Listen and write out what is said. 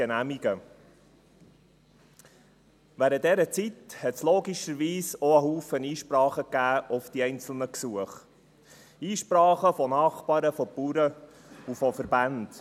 Während dieser Zeit gab es logischerweise auch viele Einsprachen auf die einzelnen Gesuche, Einsprachen von Nachbarn, von Bauern und von Verbänden.